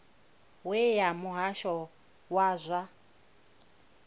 we ya muhasho wa zwa